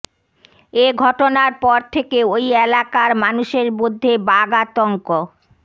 এ ঘটনার পর থেকে ওই এলাকার মানুষের মধ্যে বাঘ আতঙ্ক